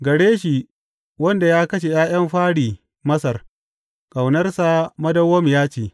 Gare shi wanda ya kashe ’ya’yan fari Masar Ƙaunarsa madawwamiya ce.